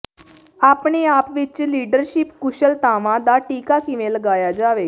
ਆਪਣੇ ਆਪ ਵਿੱਚ ਲੀਡਰਸ਼ਿਪ ਕੁਸ਼ਲਤਾਵਾਂ ਦਾ ਟੀਕਾ ਕਿਵੇਂ ਲਗਾਇਆ ਜਾਵੇ